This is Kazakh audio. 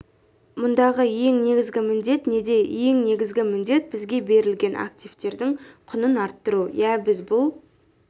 мұндағы ең негізгі міндет неде ең негізгі міндет бізге берілген активтердің құнын арттыру иә біз бұл